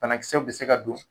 Banakisɛw bɛ se ka don